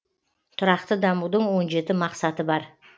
тұрақты дамудың он жеті мақсаты бар